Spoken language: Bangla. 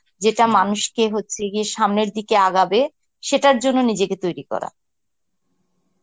যেটা মানুষকে হচ্ছে গিয়ে সামনের দিকে আগাবে, সেটার জন্য নিজেকে তৈরি করা.